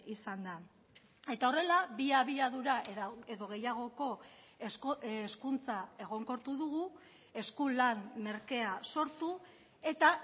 izan da eta horrela bi abiadura edo gehiagoko hezkuntza egonkortu dugu eskulan merkea sortu eta